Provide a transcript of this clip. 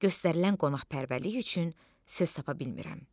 Göstərilən qonaqpərvərlik üçün söz tapa bilmirəm.